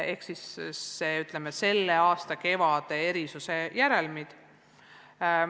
Need on selle aasta kevade erisuse järelmid.